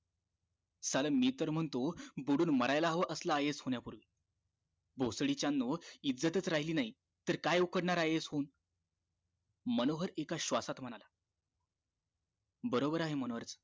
साला मी तर म्हणतो बुडून मरायला हवा असला IAS होण्यापूर्वी भोसडीच्यांनो इज्जत राहिली नाही तर काय उखडणार आहे IAS होऊन मनोहर एका श्वासात म्हणाला बरोबर आहे मनोहरच